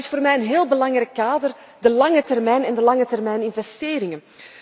Dat is voor mij een heel belangrijk kader, de lange termijn en de langetermijninvesteringen.